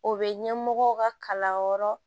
O bɛ ɲɛmɔgɔw ka kalanyɔrɔ